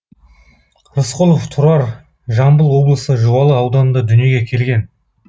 рысқұлов тұрар жамбыл облысы жуалы ауданында дүниеге келген